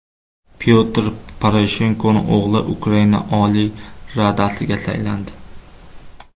Pyotr Poroshenkoning o‘g‘li Ukraina Oliy Radasiga saylandi.